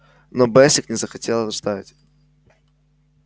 но бэсик не захотел ждать